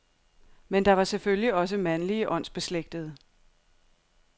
Men der var selvfølgelig også mandlige åndsbeslægtede.